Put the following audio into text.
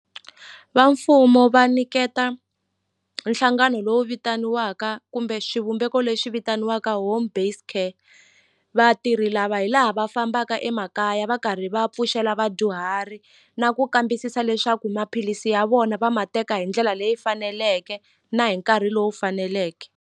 Va mfumo va niketa nhlangano lowu vitaniwaka kumbe xivumbeko lexi vitaniwaka home based care vatirhi lava hi laha va fambaka emakaya va karhi va pfuxela vadyuhari na ku kambisisa leswaku maphilisi ya vona va ma teka hi ndlela leyi faneleke na hi nkarhi lowu faneleke.